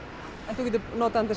þú getur notað hann